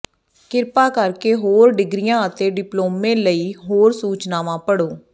ਕਿਰਪਾ ਕਰਕੇ ਹੋਰ ਡਿਗਰੀਆਂ ਅਤੇ ਡਿਪਲੋਮੇ ਲਈ ਹੋਰ ਸੂਚਨਾਵਾਂ ਪੜ੍ਹੋ